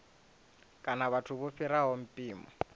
kana vhathu vho fhiraho mpimo